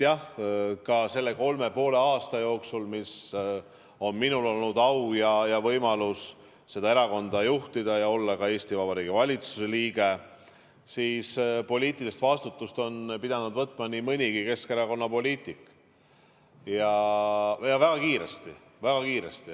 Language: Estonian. Jah, ka selle kolme ja poole aasta jooksul, mis on minul olnud au ja võimalus seda erakonda juhtida ja olla ka Eesti Vabariigi valitsuse liige, on poliitilise vastutuse pidanud võtma nii mõnigi Keskerakonna poliitik ja väga kiiresti.